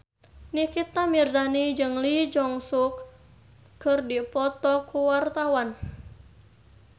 Nikita Mirzani jeung Lee Jeong Suk keur dipoto ku wartawan